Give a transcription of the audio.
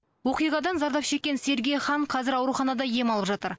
оқиғадан зардап шеккен сергей хан қазір ауруханада ем алып жатыр